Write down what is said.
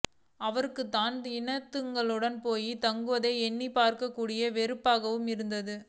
அவளுக்குத் தன் இனத்தவர்களுடன் போய்த் தங்குவதை எண்ணிப் பார்க்கக்கூட வெறுப்பாக இருந்தது